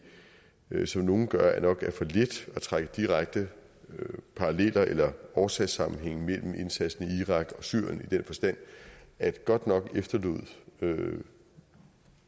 som nogle gør nok er for let at trække direkte paralleller eller årsagssammenhænge mellem indsatsen i irak og syrien i den forstand at godt nok efterlod